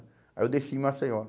Aí eu desci em Maceió.